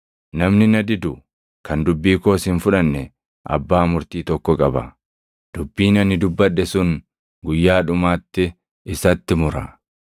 Namni na didu kan dubbii koos hin fudhanne abbaa murtii tokko qaba; dubbiin ani dubbadhe sun guyyaa dhumaatti isatti mura.